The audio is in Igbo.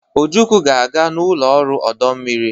Ojukwu ga-aga n'ụlọ ọrụ ọdụ ụgbọ mmiri.